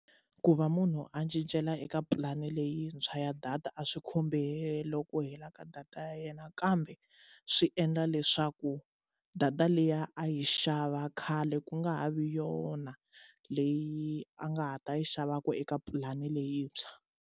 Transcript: Ku va munhu a cincela eka pulani leyintshwa ya data a swi khumbi helo ku hela ka data ya yena kambe swi endla leswaku data liya a yi xava khale ku nga ha vi yona leyi a nga ha ta yi xavaku eka pulani leyintshwa.